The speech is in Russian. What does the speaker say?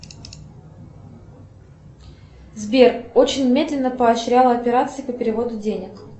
сбер очень медленно поощрял операции по переводу денег